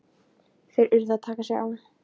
Þeir urðu að taka sig á!